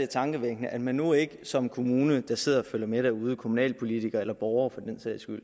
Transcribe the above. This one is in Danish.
er tankevækkende at man nu ikke som kommune der sidder og følger med derude kommunalpolitikere eller borgere for den sags skyld